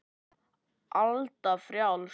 Alda frjáls.